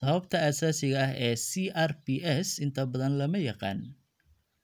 Sababta asaasiga ah ee CRPS inta badan lama yaqaan.